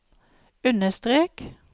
understrek